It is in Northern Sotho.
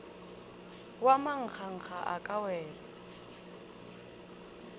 wa manganga a ka wela